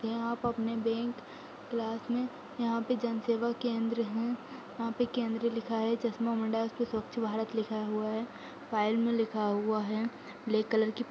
यहाँ पे अपने बैंक क्लास में यहाँ पे जन सेवा केंद हूँ। यहाँ पे केंद्र लिखा है उस पे स्वच्छ भारत लिखा हुआ है। फाइल में लिखा हुआ है ब्लेक की --